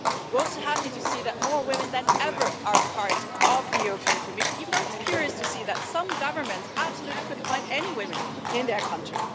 We are also happy to see that more women than ever are part of the Commission, even though it's curious to see that some governments couldn't find any women in their country.